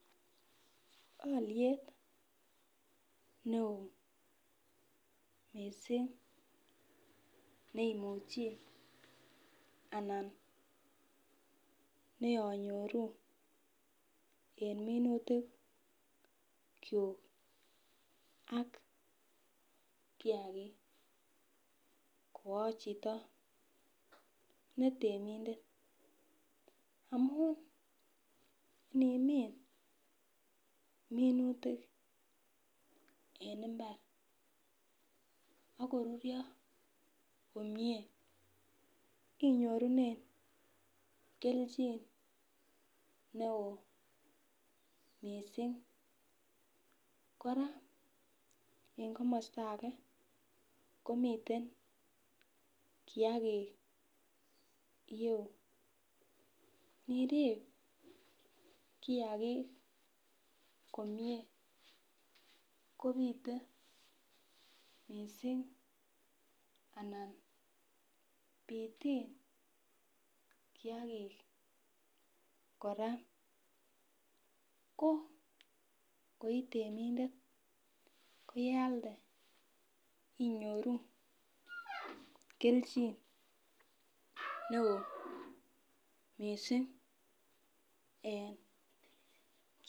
Aliet neon mising neimuche anan neanyoru en minutik chuk ak Kia age koachito netemindet amun Minet ab minutik en imbar akorurio komie inyorunen kelchin neon mising koraa en kamasta age komiten kiagik ireyu nirib kiyakigk komie kobite mising anan bitin kiagik koraa ko itemindet koyealde inyoru kelchin neon mising en